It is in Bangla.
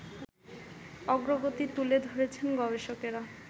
অগ্রগতি তুলে ধরছেন গবেষকরা